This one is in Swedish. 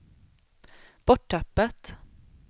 borttappat